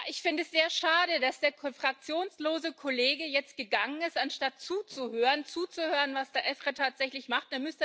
Ich finde es sehr schade, dass der fraktionslose Kollege jetzt gegangen ist, anstatt zuzuhören, was der EFRE tatsächlich macht.